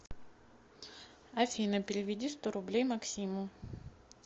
афина переведи сто рублей максиму